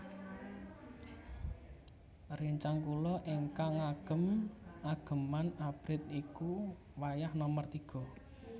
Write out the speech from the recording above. Rencang kula ignkang ngagem ageman abrit niku wayah nomer tiga